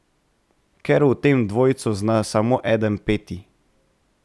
Ker v tem dvojcu zna samo eden peti.